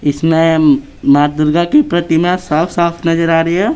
| इसमें मां दुर्गा की प्रतिमा साफ-साफ नजर आ रही है।